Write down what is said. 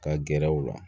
Ka gɛrɛ u la